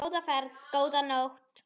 Góða ferð, góða nótt.